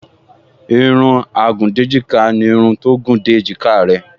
Irun agùndéjìká ni irun tó gùn dé èjìká rẹ